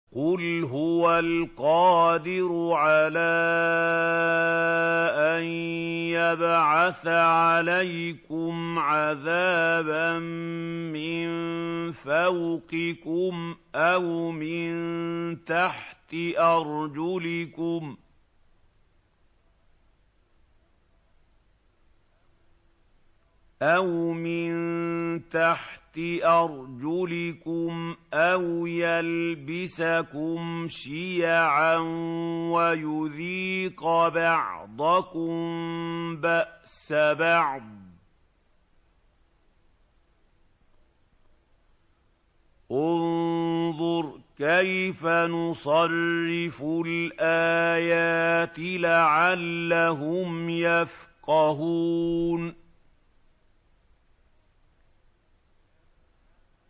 قُلْ هُوَ الْقَادِرُ عَلَىٰ أَن يَبْعَثَ عَلَيْكُمْ عَذَابًا مِّن فَوْقِكُمْ أَوْ مِن تَحْتِ أَرْجُلِكُمْ أَوْ يَلْبِسَكُمْ شِيَعًا وَيُذِيقَ بَعْضَكُم بَأْسَ بَعْضٍ ۗ انظُرْ كَيْفَ نُصَرِّفُ الْآيَاتِ لَعَلَّهُمْ يَفْقَهُونَ